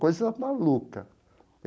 Coisa maluca!